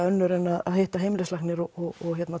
önnur en að hitta heimilislækni og